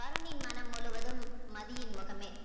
வருணின் மனம் முழுவதும் மதியின் முகமே